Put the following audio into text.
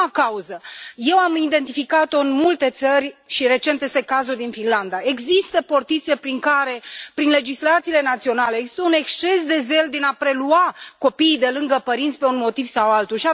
A doua cauză eu am identificat o în multe țări și recent este cazul din Finlanda. Există portițe prin care, prin legislațiile naționale, există un exces de zel în a prelua copiii de lângă părinți, pe un motiv sau altul.